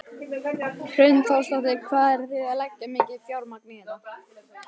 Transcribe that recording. Hrund Þórsdóttir: Hvað eru þið að leggja mikið fjármagn í þetta?